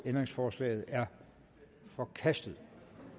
ændringsforslaget er forkastet